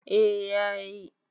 eh ya yi